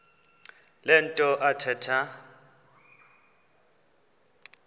le nto athetha